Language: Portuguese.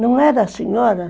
Não era a senhora?